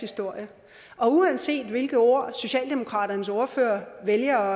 historie og uanset hvilke ord socialdemokratiets ordfører vælger